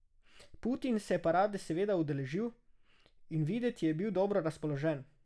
Putin se je parade seveda udeležil in videti je bil dobro razpoložen.